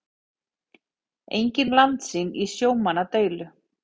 Engin landsýn í sjómannadeilu